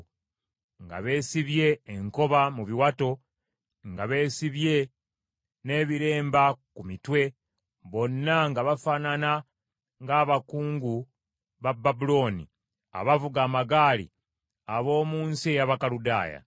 nga beesibye enkoba mu biwato, nga beesibye n’ebiremba ku mitwe, bonna nga bafaanana ng’abakungu ba Babulooni abavuga amagaali ab’omu nsi ey’Abakaludaaya.